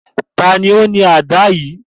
Tani o ni àdá yii?